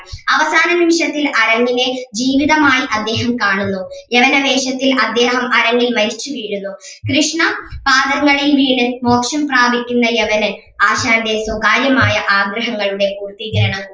അവസാന നിമിഷത്തിൽ കലയെ ജീവിതമായി അദ്ദേഹം കാണുന്നു യവന വേഷത്തിൽ അദ്ദേഹം അരങ്ങിൽ മരിച്ചു വീഴുന്നു കൃഷ്ണ പാദങ്ങളിൽ വീണ് മോക്ഷം പ്രാപിക്കുന്ന യവനൻ ആശാന്റെ സ്വകാര്യമായ ആഗ്രഹങ്ങളുടെ പൂർത്തീകരണം